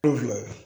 Kulon